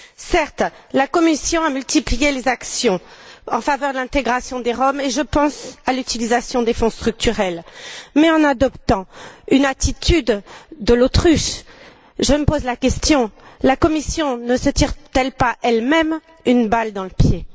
Certes, la Commission a multiplié les actions en faveur de l'intégration des Roms, et je pense à l'utilisation des Fonds structurels. Mais en suivant une politique de l'autruche, je me pose la question la Commission ne se tire t elle pas elle même une balle dans le pied?